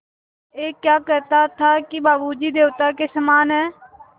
ऐं क्या कहता था कि बाबू जी देवता के समान हैं